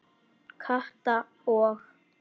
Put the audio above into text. Kata og